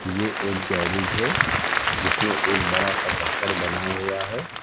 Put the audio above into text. ये एक गैरेज है जिसमें एक बड़ा सा पत्थर बना हुआ है।